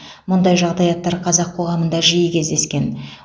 мұндай жағдаяттар қазақ қоғамында жиі кездескен